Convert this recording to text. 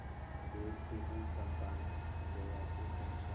देखती हुई चंपा ने जया से पूछा